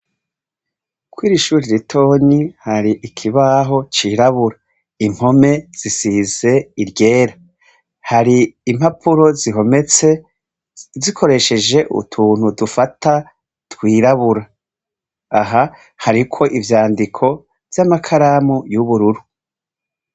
Kw'ir'ishuri ritonyi hari ikibaho cirabura. Impome zisize iryera. Hari impapuro zihometse zikoresheje utuntu dufata twirabura. Aha hariko ivyandiko vy'amakaramu y'ubururu.